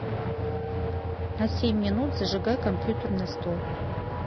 на семь минут зажигай компьютерный стол